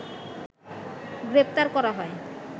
গ্রেপ্তার করা হয়